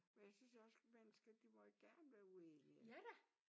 Men jeg synes også man skal de må jo gerne være uenige